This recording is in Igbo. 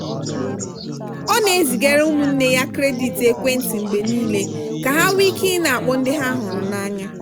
ọ na-ezigara ụmụnne ya kredit ekwentị mgbe niile ka ha nwee ike ị na-akpọ ndị ha hụrụ n'anya.